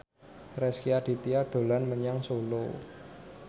Rezky Aditya dolan menyang Solo